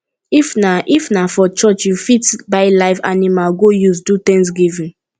if na if na for church you fit buy live animals go use do thanksgiving